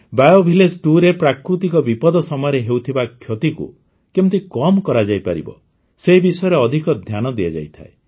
BO Village2ରେ ପ୍ରାକୃତିକ ବିପଦ ସମୟରେ ହେଉଥିବା କ୍ଷତିକୁ କେମିତି କମ୍ କରାଯାଇପାରିବ ସେ ବିଷୟରେ ଅଧିକ ଧ୍ୟାନ ଦିଆଯାଇଥାଏ